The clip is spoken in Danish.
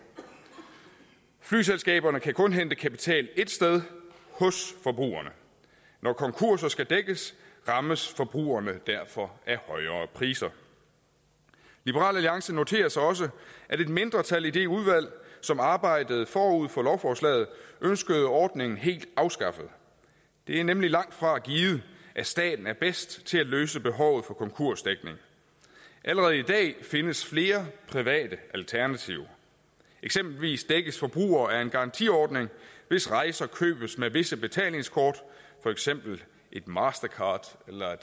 flyselskaberne kan kun hente kapital et sted hos forbrugerne når konkurser skal dækkes rammes forbrugerne derfor af højere priser liberal alliance noterer sig også at et mindretal i det udvalg som arbejdede forud for lovforslaget ønskede ordningen helt afskaffet det er nemlig langtfra givet at staten er bedst til at løse behovet for konkursdækning allerede i dag findes flere private alternativer eksempelvis dækkes forbrugere af en garantiordning hvis rejser købes med visse betalingskort for eksempel et mastercard eller